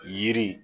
Yiri